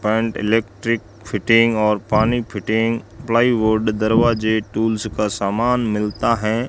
Paint electric fitting और पानी fitting plywood दरवाजे टूल्स का सामान मिलता है।